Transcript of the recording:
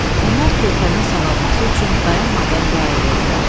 Onlar körpənin sağalması üçün dayanmadan dua edirdilər.